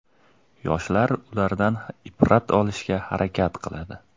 Yoshlar undan ibrat olishga harakat qiladi.